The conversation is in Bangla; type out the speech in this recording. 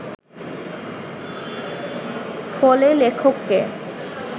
ফলে লেখককে